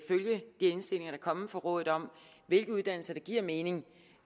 indstillinger der er kommet fra rådet om i hvilke uddannelser det giver mening